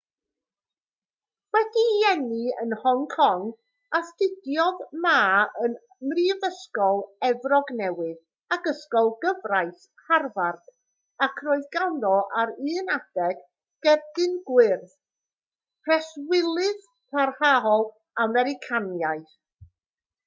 wedi'i eni yn hong kong astudiodd ma ym mhrifysgol efrog newydd ac ysgol gyfraith harvard ac roedd ganddo ar un adeg gerdyn gwyrdd preswylydd parhaol americanaidd